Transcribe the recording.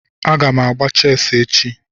Aga m agba chessi echi